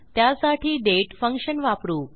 त्यासाठी date function वापरू